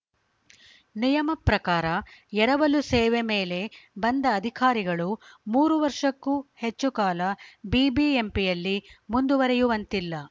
ನಿಯಮ ಪ್ರಕಾರ ಎರವಲು ಸೇವೆ ಮೇಲೆ ಬಂದ ಅಧಿಕಾರಿಗಳು ಮೂರು ವರ್ಷಕ್ಕೂ ಹೆಚ್ಚು ಕಾಲ ಬಿಬಿಎಂಪಿಯಲ್ಲಿ ಮುಂದುವರೆಯುವಂತಿಲ್ಲ